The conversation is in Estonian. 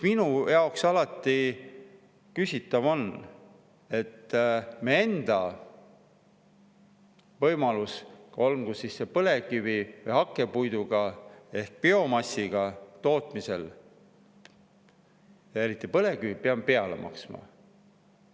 Minu jaoks on alati olnud küsitav see, et miks me enda võimaluste puhul, olgu see põlevkivi või hakkepuidu ehk biomassiga tootmisel – eriti põlevkivi puhul –, peame peale maksma.